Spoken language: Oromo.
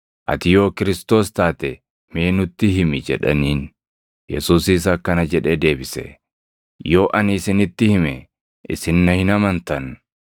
“Ati yoo Kiristoos + 22:67 yookaan Masiihicha taate mee nutti himi” jedhaniin. Yesuusis akkana jedhee deebise; “Yoo ani isinitti hime isin na hin amantan;